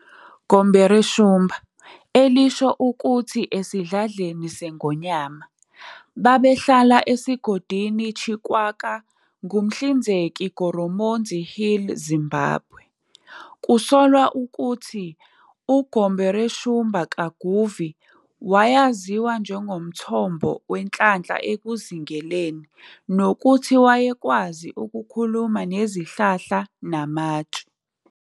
Gumboreshumba, elisho ukuthi- "esidladleni sengonyama", babehlala esigodini Chikwaka ngumhlinzeki Goromonzi Hill, Zimbabwe. Kusolwa ukuthi uGumboreshumba Kaguvi wayaziwa njengomthombo wenhlanhla ekuzingeleni nokuthi wayekwazi ukukhuluma nezihlahla namatshe.